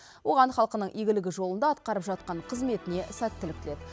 оған халқының игілігі жолында атқарып жатқан қызметіне сәттілік тіледі